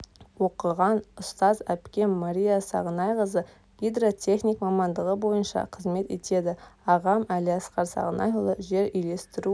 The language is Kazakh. оқыған ұстаз әпкем мария сағынайқызы гидро-техник мамандығы бойынша қызмет етеді ағам әлиасқар сағынайұлы жер үйлестіру